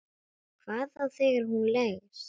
Hvað þá þegar hún leggst.